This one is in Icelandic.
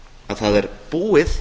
að það er búið